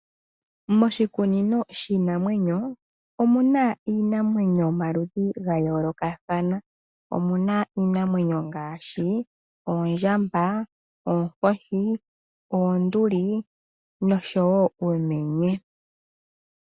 Moshikunino shiinamwenyo omuna iinamwenyo yomaludhi gayoloka thana omuna iinamwenyo ngaashi Oondjamba, Oonkoshi , Oonduli noshowo Uumenye.